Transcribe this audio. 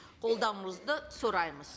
қолдауыңызды сұраймыз